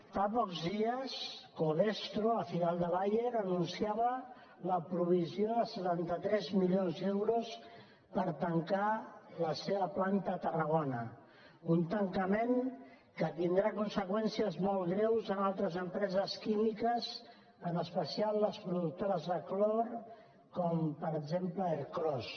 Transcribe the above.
fa pocs dies covestro la filial de bayer anunciava la provisió de setanta tres milions d’euros per tancar la seva planta de tarragona un tancament que tindrà conseqüències molt greus en altres empreses químiques en especial les productores de clor com per exemple ercros